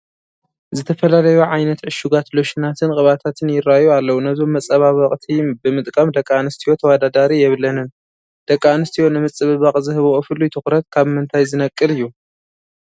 ዝተፈላለዩ ዓይነት ዕሹጋት ሎሽናትን ቅብኣታትን ይርአዩ ኣለዉ፡፡ ነዞም መፀባበቕቲ ብምጥቃም ደቂ ኣነስትዮ ተወዳዳሪ የብለንን፡፡ ደቂ ኣንስትዮ ንምፅብባቕ ዝህብኦ ፍሉይ ትኹረት ካብ ምንታይ ዝነቅል እዩ፡፡